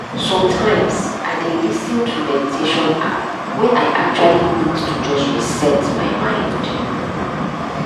sometimes i dey lis ten to meditation app when i actually need to just reset my mind